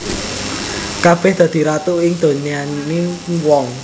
Kabèh dadi ratu ing donyaning wong